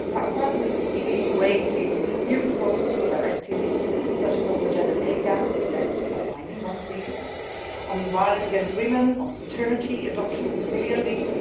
Parliament is eagerly awaiting new proposals for directives, such as on the gender pay gap and a binding one, please on violence against women, on paternity, adoption and filial leave.